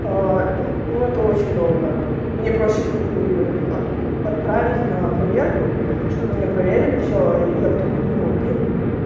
ну это очень долго мне проще как бы отправить на проверку чтобы мне проверили всё и я потом не думала блин